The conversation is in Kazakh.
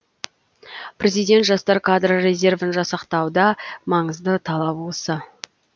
президент жастар кадр резервін жасақтауда маңызды талап осы